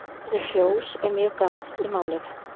Orðið fjós er mjög gamalt í málinu.